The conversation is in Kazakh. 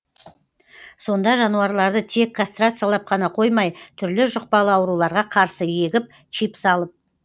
сонда жануарларды тек кастрациялап қана қоймай түрлі жұқпалы ауруларға қарсы егіп чип салып